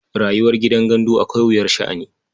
Rayuwar gidan gandu akwai wuyar sha'ani.